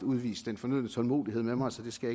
udvist den fornødne tålmodighed med mig så det skal